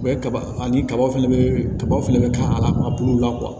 U bɛ kaba ani kaba fɛnɛ bɛ kabaw fɛnɛ bɛ ka a bulu la